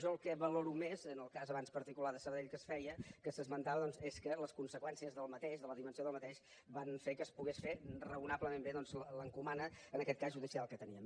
jo el que valoro més en el cas abans particular de sabadell que es feia que s’esmentava doncs és que les conseqüències d’aquest de la dimensió d’aquest van fer que es pogués fer raonablement bé l’encomana en aquest cas judicial que teníem